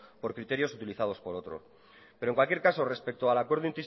por criterios utilizados por otro pero en cualquier caso respecto al acuerdo